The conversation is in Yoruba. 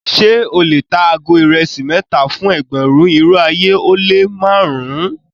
Ṣẹ o le tà àgó irèsí mẹta fún ẹgbérùn, irò ayé o le màrùn-un?